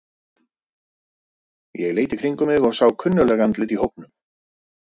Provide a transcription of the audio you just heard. Ég leit í kringum mig og sá kunnugleg andlit í hópnum.